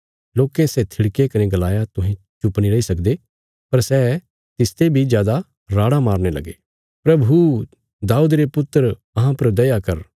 लोकें सै थिड़के कने गलाया तुहें चुप नीं रैई सकदे पर सै तिसते बी जादा राड़ां मारने लगे प्रभु दाऊद रे वंशज अहां पर दया कर